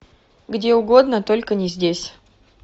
где угодно только не здесь